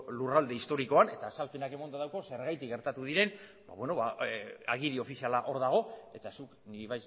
lurralde historikoan eta azalpenak emanda daukoz zergatik gertatu diren agiri ofiziala hor dago eta zuk nik